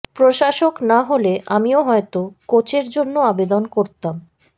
প্রশাসক না হলে আমিও হয়তো কোচের জন্য আবেদন করতাম